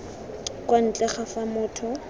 kwa ntle ga fa motho